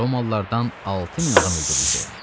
Romalılardan 6000 adam öldürüldü.